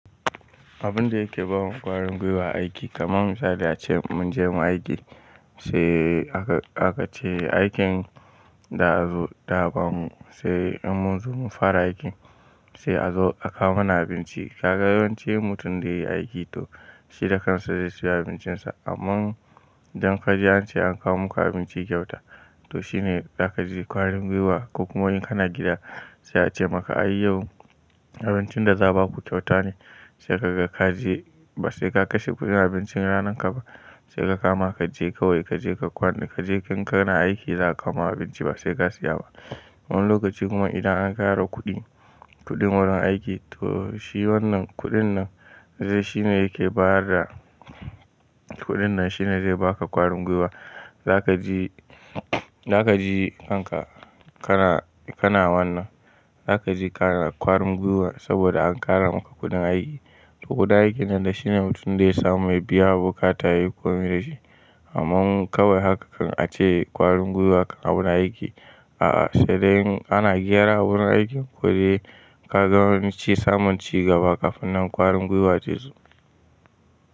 Abun da yake bamu ƙwarin gwiwa aiki kamar misali ace munje mun aiki sai aka ce aikin da za su dawo sai in mun zo mu fara aikin sai a zo akawo mana abinci. Ka ga yawanci mutum da yayi aiki to shi da kansa zai siya abincin sa. Amman dan kaji an ce an kawo muku abinci kyauta to shine zaka ji ƙwarin gwiwa. Kokuma in kana gida sai a ce maka ai yau abincin da za a baku kyauta ne sai ka ga kaje ba sai ka kashe kuɗin abincin ranan ka ba sai ka kama kaje kawai kaje ka kwana. Kaje in kana aiki za a kawoma abinci ba sai ka siya ba. Wani lokacin kuma idan an ƙara kuɗi, kuɗin wurin aiki to shi wannan kuɗin nan zai shine yake bada kuɗin nan shine zai baka ƙwarin gwiwa. Zaka ji, za ka ji kanka kana, kana wannan. Zaka ji kana ƙwarin gwiwa saboda an ƙara maka kuɗin aiki. Sa, boda aikin nan da shine mutum dai ya samu ya biya bukata yayi ko mi da shi. Amman kawai haka kan a ce ƙwarin gwiwa kan a wurin aiki. A'a, sai dai in gyara awurin aikin ko dai ka ga yawanci samunci gaba ƙafin nan ƙwarin gwiwa zai zo.